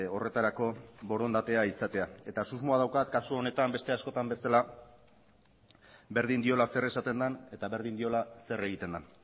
horretarako borondatea izatea eta susmoa daukat kasu honetan beste askotan bezala berdin diola zer esaten den eta berdin diola zer egiten den